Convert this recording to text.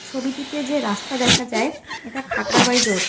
ছবিটিতে যে রাস্তা দেখা যায় এটা খাকরা বাই রোড।